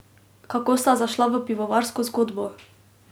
Kako sta zašla v pivovarsko zgodbo?